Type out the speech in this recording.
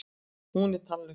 Hún er tannlaus.